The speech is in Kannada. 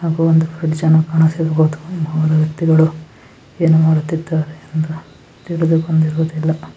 ಮೂರು ವ್ಯಕ್ತಿಗಳು ಏನೋ ಮಾಡುತ್ತಿದ್ದರೆ